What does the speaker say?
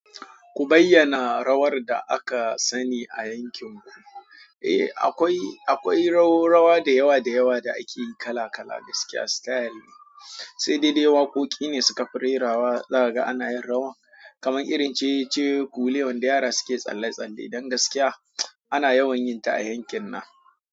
Ku bayyana rawar da aka sani a yankin ku. Eh akwai, akwai rawa, rawa da yawa da yawa da ake yi kala kala gaskiya style ne, sai dai dai waƙoƙi ne sukafi rerawa zakaga ana yin rawa, kaman irin cecece kuwule wanda yara suke tsalle tsalle. Don gaskiya ana yawan yin ta a yankin nan.